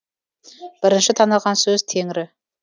бірінші таныған сөз теңрі